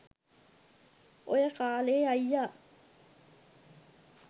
ඔය කාලෙ අයියා